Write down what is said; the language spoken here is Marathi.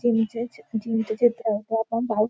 जिम चे चि जिम चे चित्र हे आपण पाहू--